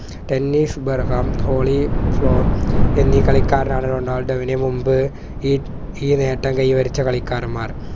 Dennis ബെർഹാം ഹോളി ഫ്ലോർ എന്നീ കളിക്കാരാണ് റൊണാൾഡോയ്യിനെ മുൻപ് ഈ നേട്ടം കൈവരിച്ച കളിക്കാരൻമാർ